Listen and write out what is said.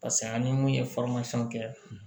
Paseke an ni mun ye kɛ